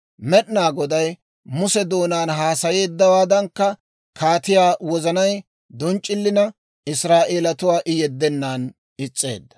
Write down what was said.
Med'inaa Goday Muse doonaan haasayeeddawaadankka kaatiyaa wozanay donc'c'ilina, Israa'eelatuwaa I yeddennan is's'eedda.